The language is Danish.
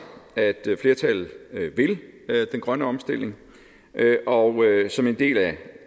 at flertallet vil den grønne omstilling og som en del af